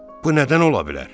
Bu nədən ola bilər?